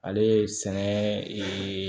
Ale ye sɛnɛ